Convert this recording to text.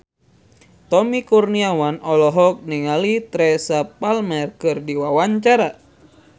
Tommy Kurniawan olohok ningali Teresa Palmer keur diwawancara